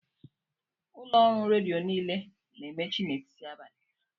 Ụlọ ọrụ redio niile na-emechi n'etiti abalị